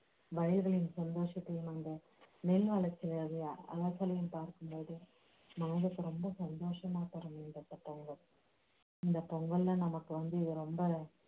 வயதையும் சந்தொஷத்தயும் கொண்ட பார்க்கும்போது மனதுக்கு ரொம்ப சந்தோஷமா இந்த பொங்கல்ல நமக்கு வந்து